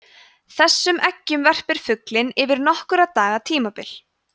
þessum eggjum verpir fuglinn yfir nokkurra daga tímabil